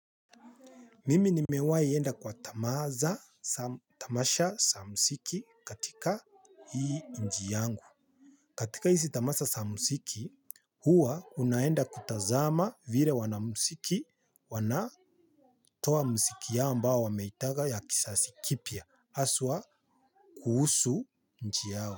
Mimi nimewahi enda kwa tamasha sa msiki katika hii nchi yangu. Katika hizi tamasha za mziki, huwa unaenda kutazama vile wanamziki wanatoa mziki yao ambao wameitega ya kizazi kipya haswa kuhusu nchi yao.